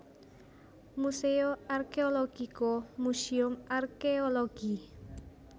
Museo Archeologico Museum Arkéologi